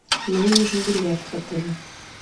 мне нужен бильярд в отеле